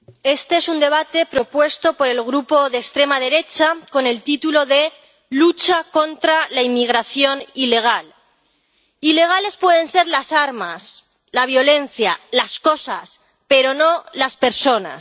Señor presidente, este es un debate propuesto por el grupo de extrema derecha con el título de Lucha contra la inmigración ilegal. Ilegales pueden ser las armas, la violencia, las cosas, pero no las personas.